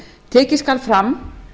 tekið skal fram